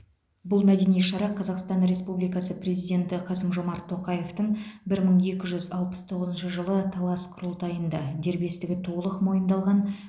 бұл мәдени шара қазақстан республикасы президенті қасым жомарт тоқаевтың бір мың екі жүз алпыс тоғызыншы жылы талас құрылтайында дербестігі толық мойындалған